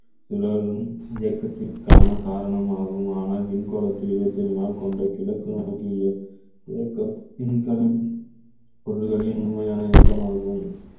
சுழலும் இயக்கத்திற்கான காரணமாகுமானால் விண்கோலத்தில் இருபத்தி ஏழு நாள் கொண்ட கிழக்கு நோக்கிய விண்கலம் பொருள்களின் உண்மையான இயக்கமாகும்